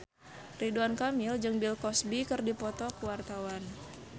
Ridwan Kamil jeung Bill Cosby keur dipoto ku wartawan